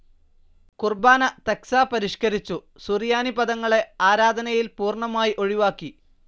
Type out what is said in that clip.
കുർബ്ബാന തക്സാ പരിഷ്കരിച്ചു, സുറിയാനി പദങ്ങളെ ആരാധനയിൽ പൂർണ്ണമായി ഒഴിവാക്കി